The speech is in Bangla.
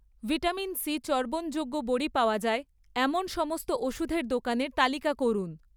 ভিটামিন সি চর্বণযোগ্য বড়ি পাওয়া যায় এমন সমস্ত ওষুধের দোকানের তালিকা করুন